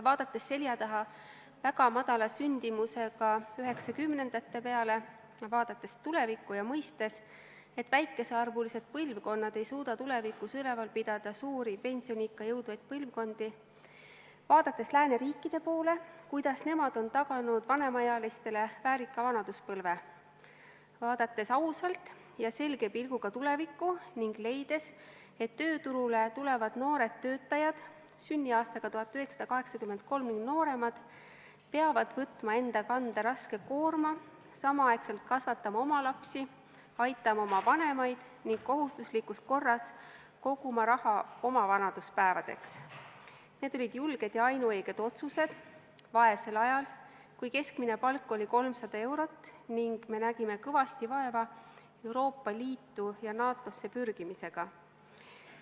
Vaadates selja taha väga madala sündimusega 1990-ndate peale ning vaadates tulevikku ja mõistes, et väikesearvulised põlvkonnad ei suuda tulevikus üleval pidada suuri pensioniikka jõudvaid põlvkondi, vaadates lääneriikide poole, seda, kuidas nemad on taganud vanemaealistele väärika vanaduspõlve, vaadates ausalt ja selge pilguga tulevikku ning leides, et tööturule tulevad noored töötajad sünniaastaga 1983 või nooremad peavad võtma enda kanda raske koorma, samal ajal kasvatama oma lapsi, aitama oma vanemaid ning kohustuslikus korras koguma raha oma vanaduspäevadeks, on selge, et need olid julged ja ainuõiged otsused vaesel ajal, kui keskmine palk oli 300 eurot ning me nägime kõvasti vaeva Euroopa Liitu ja NATO-sse pürgimisega.